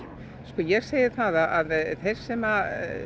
ég segi það að þeir sem